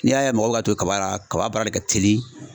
N'i y'a ye mɔgɔw ka ton kaba la kaba baara de ka teli.